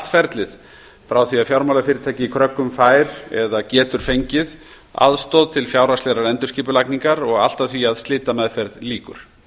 ferlið frá því að fjármálafyrirtæki í kröggum fær eða getur fengið aðstoð til fjárhagslegrar endurskipulagningar og allt að því að slitameðferð lýkur